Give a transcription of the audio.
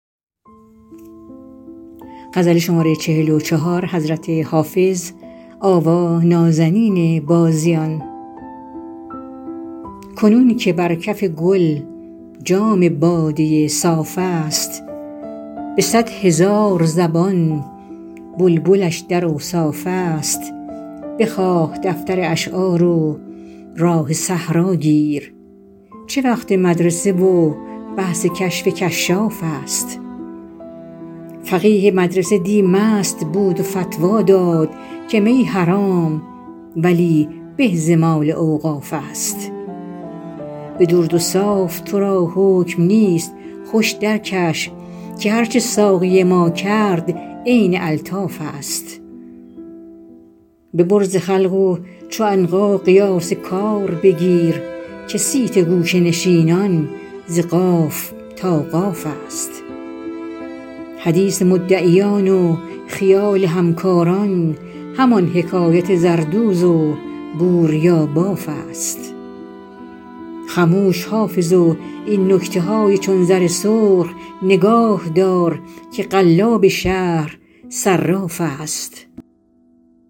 کنون که بر کف گل جام باده صاف است به صد هزار زبان بلبلش در اوصاف است بخواه دفتر اشعار و راه صحرا گیر چه وقت مدرسه و بحث کشف کشاف است فقیه مدرسه دی مست بود و فتوی داد که می حرام ولی به ز مال اوقاف است به درد و صاف تو را حکم نیست خوش درکش که هرچه ساقی ما کرد عین الطاف است ببر ز خلق و چو عنقا قیاس کار بگیر که صیت گوشه نشینان ز قاف تا قاف است حدیث مدعیان و خیال همکاران همان حکایت زردوز و بوریاباف است خموش حافظ و این نکته های چون زر سرخ نگاه دار که قلاب شهر صراف است